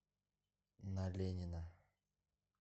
на ленина